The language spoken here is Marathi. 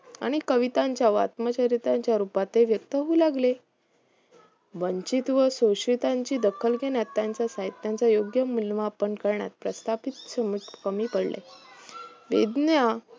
आणि कवितांच्या व आत्मचरित्रांच्या रूपात ते व्यक्त होऊ लागले वंचित व शोषितांची दखल घेण्यात त्यांचे साहित्यांचे योग्य मूल्यमापन करण्यात प्रस्थापित कमी पडले वेज्ञ